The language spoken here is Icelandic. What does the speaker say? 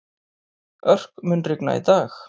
Örk, mun rigna í dag?